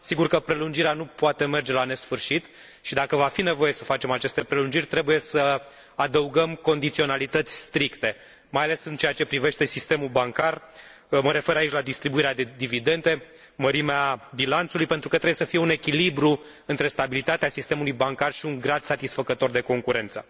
Sigur că prelungirea nu poate merge la nesfârșit și, dacă va fi nevoie să facem aceste prelungiri, trebuie să adăugăm condiționalități stricte, mai ales în ceea ce privește sistemul bancar mă refer aici la distribuirea de dividende, la mărimea bilanțului pentru că trebuie să fie un echilibru între stabilitatea sistemului bancar și un grad satisfăcător de concurență.